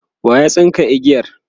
waya tsinka igiyar?